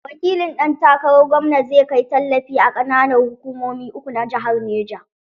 Wakilin ɗan takarar gwamna zai kai tallafi a ƙananan hukumomin uku na jihar Neja.